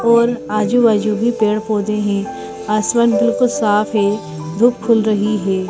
और आजू-बाजू भी पेड़-पौधे हैं आसमान बिल्कुल साफ है धूप खुल रही है।